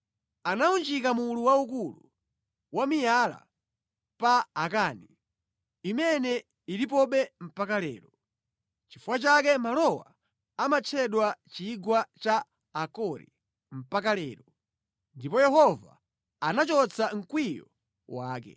Anawunjika mulu waukulu wa miyala pa Akani, imene ilipobe mpaka lero. Nʼchifukwa chake malowa amatchedwa chigwa cha Akori mpaka lero. Ndipo Yehova anachotsa mkwiyo wake.